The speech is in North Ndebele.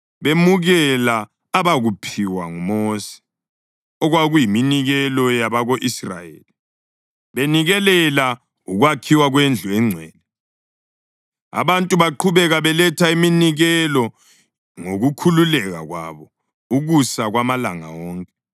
Bemukela abakuphiwa nguMosi okwakuyiminikelo yabako-Israyeli benikelela ukwakhiwa kwendlu engcwele. Abantu baqhubeka beletha iminikelo ngokukhululeka kwabo ukusa kwamalanga wonke.